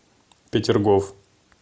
петергоф